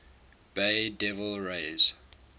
bay devil rays